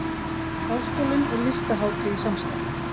Háskólinn og Listahátíð í samstarf